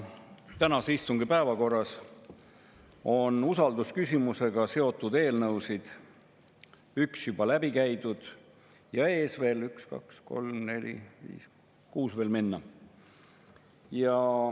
Tänase istungi päevakorras on usaldusküsimusega seotud eelnõudest üks juba läbi käidud ja ees üks, kaks, kolm, neli, viis … kuus veel minna.